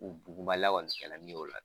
U buguma